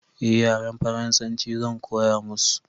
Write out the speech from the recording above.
eh yaren faransanci Zan koya musu